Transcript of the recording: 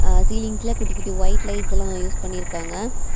சீலிங்ஸ்ல குட்டி குட்டி white light எல்லா யூஸ் பண்ணி இருக்காங்க.